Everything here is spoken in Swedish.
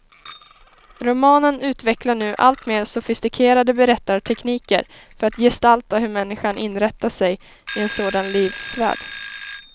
Romanen utvecklar nu alltmer sofistikerade berättartekniker för att gestalta hur människan inrättar sig i en sådan livsvärld.